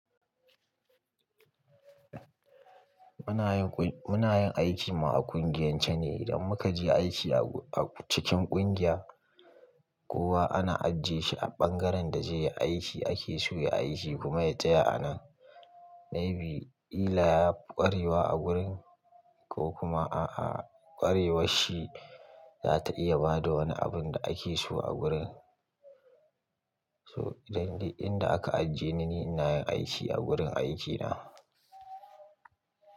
Muna yin aiki mu a ƙungiyance ne, idan muka je aiki a cikin ƙungiya, kowa ana ajiye shi a ɓangaren da zai yi aiki ake so ya ayi shi kuma ya taya a nan. Maybe illa ya ƙwarewa a gurin ko kuma aavƙwarewar shi za ta iya ba da wani abin da ake so a gurin. To idan dai in da aka ajiye ni, ni ina yin aiki a gurin aikina.